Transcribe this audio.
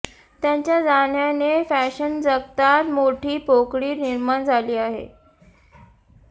त्यांच्या जाण्याने फॅशन जगतात मोठी पोकळी निर्माण झाली आहे